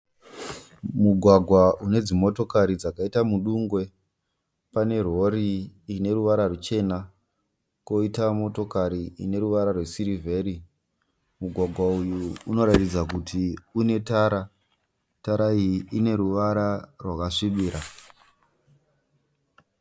Mugwagwa une dzimotokari dzakaita mudungwe. Pane rori ine ruvara ruchena koita motokari ine ruvara rwesirivheri. Mugwagwa uyu unoratidza kuti unetara. Tara iyi ine ruvara rwakasvibira.